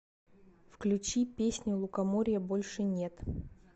включи песню лукоморья больше нет